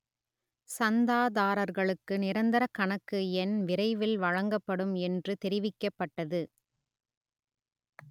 சந்தாதாரர்களுக்கு நிரந்தர கணக்கு எண் விரைவில் வழங்கப்படும் என்று தெரிவிக்கப்பட்டது